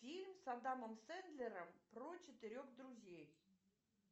фильм с адамом сэндлером про четырех друзей